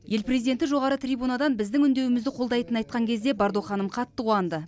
ел президенті жоғары трибунадан біздің үндеуімізді қолдайтынын айтқан кезде бардо ханым қатты қуанды